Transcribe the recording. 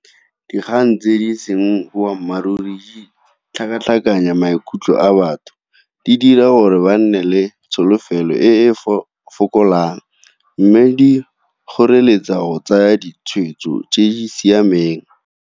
Dikgang tse di seng boammaaruri, tlhakatlhakanya maikutlo a batho, di dira gore ba nne le tsholofelo e e fokolang. Mme di kgoreletsa go tsaya ditshwetso tse di siameng.